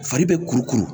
Fari bɛ kuru kuru